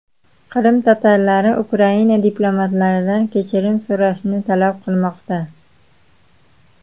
Qrim tatarlari Ukraina diplomatlaridan kechirim so‘rashni talab qilmoqda.